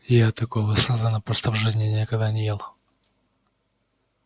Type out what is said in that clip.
я такого сазана просто в жизни никогда не ел